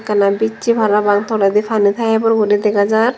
janey bissey parapang toledi pani tayepor guri dega jar.